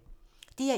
DR1